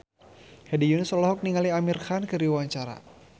Hedi Yunus olohok ningali Amir Khan keur diwawancara